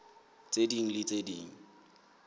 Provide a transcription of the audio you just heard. tse ding le tse ding